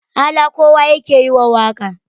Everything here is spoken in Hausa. ala kowa yake yi wa waƙa